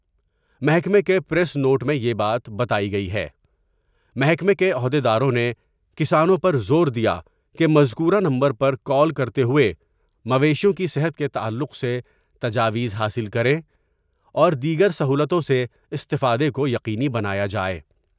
محکمہ کے press note میں یہ بات بتائی گئی ہے محکمہ کے عہد یداروں نے کسانوں پر زور دیا کہ مذکورہ نمبر پر کال کر تے ہوۓ مویشیوں کی صحت کے تعلق سے تجاویز حاصل کریں اور دیگر سہولتوں سے استفادہ کو یقینی بنایا جاۓ ۔